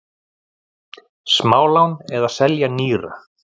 Smálán eða selja nýra?